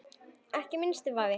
Ekki minnsti vafi.